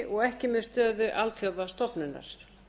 og ekki með stöðu alþjóðastofnunar